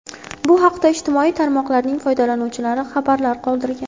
Bu haqda ijtimoiy tarmoqlarning foydalanuvchilari xabarlar qoldirgan.